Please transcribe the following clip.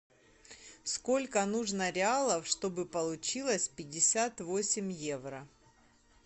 сколько нужно реалов чтобы получилось пятьдесят восемь евро